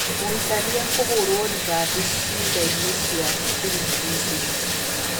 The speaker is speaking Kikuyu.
Mũhikania kũhũrũo rithathi ciĩga ini cia thiri Misiri.